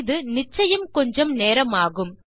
இது நிச்சயம் கொஞ்சம் நேரமாகும்